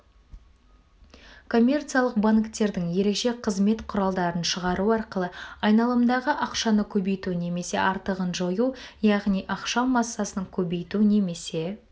коммерциялық банктердің ерекше қызмет құралдарын шығару арқылы айналымдағы ақшаны көбейту немесе артығын жою яғни ақша массасын көбейту немесе